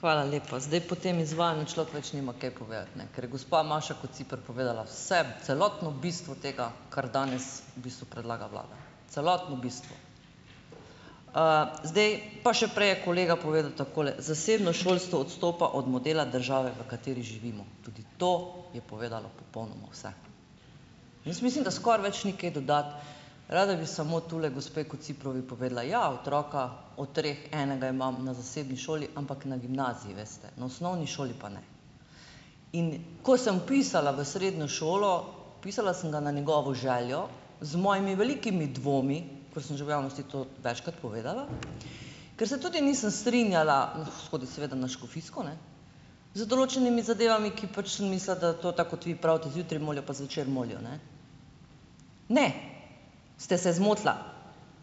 Hvala lepa. Zdaj po tem izvajanju človek več nima kaj povedati, ne, ker je gospa Maša Kociper povedala vse, celotno bistvo tega, kar danes bistvu predlaga vlada, celotno bistvo. zdaj pa še prej je kolega povedal takole: "Zasebno šolstvo odstopa od modela države, v kateri živimo." Tudi to je povedala popolnoma vse, jaz mislim, da skoraj več ni kaj dodati, rada bi samo tule gospe Kociprovi povedala, ja, otroka od treh enega imam na zasebni šoli, ampak na gimnaziji, veste, na osnovni šoli pa ne, in ko sem vpisala v srednjo šolo, vpisala sem ga na njegovo željo z mojimi velikimi dvomi, ker sem že v javnosti to večkrat povedala, ker se tudi nisem strinjala, hodil seveda na škofijsko, ne, z določenimi zadevami, ki pač sem mislila, da to tako, kot vi pravite, zjutraj molijo pa zvečer molijo, ne, ne, ste se zmotila,